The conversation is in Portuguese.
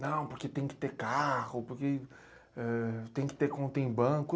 Não, porque tem que ter carro, porque, ãh, tem que ter conta em banco.